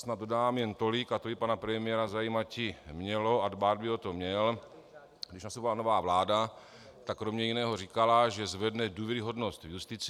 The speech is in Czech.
Snad dodám jen tolik, a to by pana premiéra zajímati mělo a dbát by o to měl, když nastoupila nová vláda, tak kromě jiného říkala, že zvedne důvěryhodnost v justici.